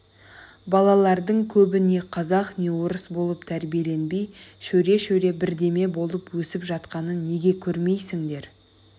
балалардың көбі не қазақ не орыс болып тәрбиеленбей шөре-шөре бірдеме болып өсіп жатқанын неге көрмейсіңдер